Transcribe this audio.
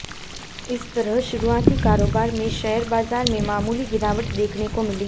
इस तरह शुरुआती कारोबार में शेयर बाजार में मामूली गिरावट देखने को मिली